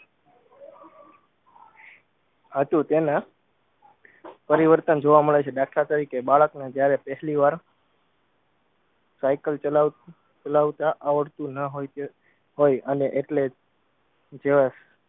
હતું તેના પરિવર્તન જોવા મળે છે દાખલા તરીકે બાળકને જયારે પહેલીવાર સાઇકલ ચલાવ ચલાવતા આવડતું ન હોય તે હોય અને એટલે જ